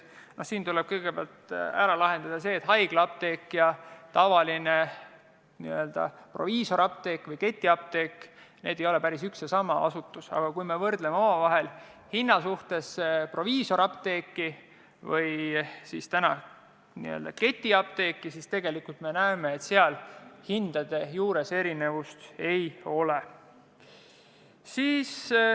Siinkohal tuleb kõigepealt selgitada, et haiglaapteek ja tavaline, n-ö proviisorapteek või ketiapteek ei ole päris üks ja sama asutus, aga kui võrdleme hindu proviisorapteegis ja ketiapteegis, siis me tegelikult näeme, et hindades erinevust ei ole.